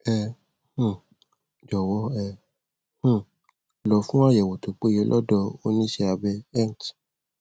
ẹ um jọwọ ẹ um lọ fún àyẹwò tó péye lọdọ oníṣẹabẹ ent